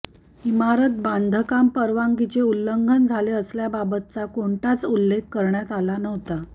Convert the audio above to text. इमारत बांधकाम परवानगीचे उल्लंघन झाले असल्याबाबतचा कोणताच उल्लेख करण्यात आला नव्हता